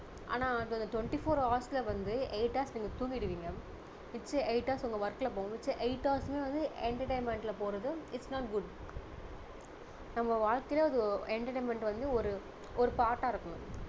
ஆனா அது twenty four hours ல வந்து eight hours நீங்க தூங்கிடுவீங்க மிச்ச eight hours உங்க work ல போகும் மிச்ச eight hours சுமே வந்து entertainment ல போறது it's not good நம்ம வாழ்க்கையில அது ஒர~ entertainment வந்து ஒரு ஒரு part டா இருக்கணும்